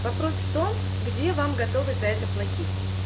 вопрос в том где вам готовы за это платить